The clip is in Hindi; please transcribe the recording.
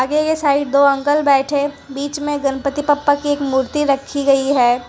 ये ये साइड दो अंकल बैठे बीच में गणपति बप्पा की एक मूर्ति रखी गई है।